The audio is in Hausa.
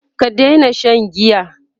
ka Daina Shan giya!